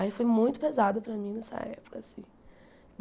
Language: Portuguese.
Aí foi muito pesado para mim nessa época, assim.